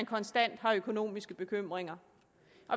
konstant har økonomiske bekymringer